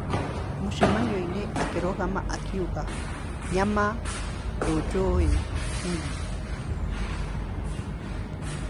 Mũcamanio-inĩ akĩrugama na kuuga, "Nyama, ndũnjũĩ nie."